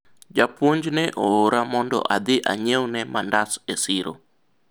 japuonj ne oora mondo adhi anyiewne mandas e siro